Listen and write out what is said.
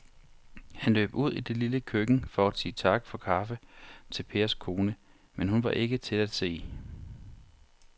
Han løb ud i det lille køkken for at sige tak for kaffe til Pers kone, men hun var ikke til at se.